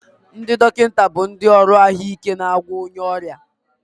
Ndị dọkịta bụ ndị ọrụ ahụike na-agwọ onye ọrịa